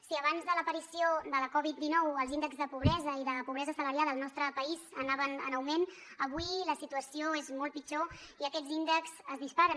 si abans de l’aparició de la coviddinou els índexs de pobresa i de pobresa assalariada al nostre país anaven en augment avui la situació és molt pitjor i aquests índexs es disparen